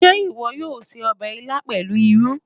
Ṣé ìwọ yóò se ọbẹ̀ ilá pẹ̀lú irú?